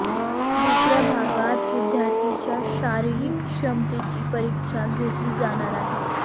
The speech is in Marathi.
दुसऱ्या भागात विद्यार्थ्यांच्या शारिरीक क्षमतेची परीक्षा घेतली जाणार आहे